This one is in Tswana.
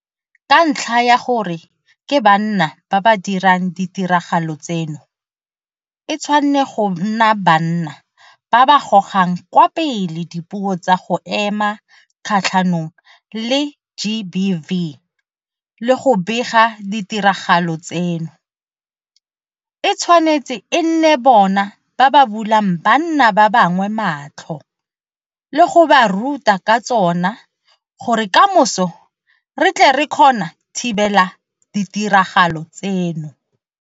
Ka ntlha ya gore ke banna ba ba dirang ditiragalo tseno, e tshwane go nna banna ba ba gogang kwa pele dipuo tsa go ema kgatlhanong le GBV le go bega ditiragalo tseno, e tshwanetse e nne bona ba ba bulang banna ba bangwe matlho le go ba ruta ka tsona gore kamoso re tle re kgona thibela ditiragalo tseno.